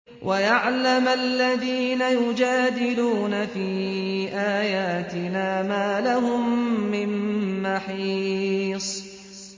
وَيَعْلَمَ الَّذِينَ يُجَادِلُونَ فِي آيَاتِنَا مَا لَهُم مِّن مَّحِيصٍ